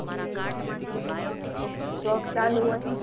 job ચાલુ હોય ને